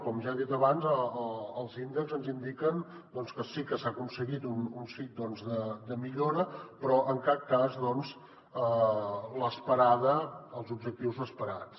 com ja he dit abans els índexs ens indiquen que sí que s’ha aconseguit un xic de millora però en cap cas l’esperada els objectius esperats